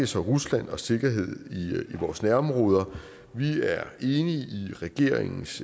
så rusland og sikkerhed i vores nærområder vi er enige i regeringens